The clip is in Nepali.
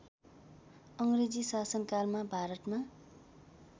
अङ्ग्रेजी शासनकालमा भारतमा